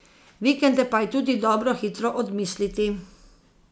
Vikende pa je tudi dobro hitro odmisliti.